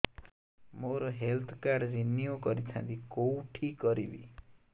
ମୋର health card renew କରିଥାନ୍ତି କୋଉଠି କରିବି